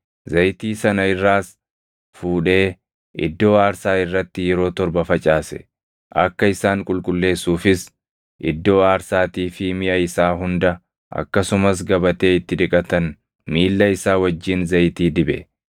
Zayitii sana irraas fuudhee iddoo aarsaa irratti yeroo torba facaase; akka isaan qulqulleessuufis iddoo aarsaatii fi miʼa isaa hunda akkasumas gabatee itti dhiqatan miilla isaa wajjin zayitii dibe.